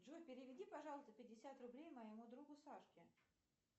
джой переведи пожалуйста пятьдесят рублей моему другу сашке